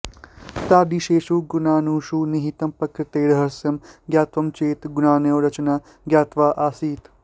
तादृशेषु गुणाणुषु निहितं प्रकृतेः रहस्यं ज्ञातव्यं चेत् गुणाणोः रचना ज्ञातव्या आसीत्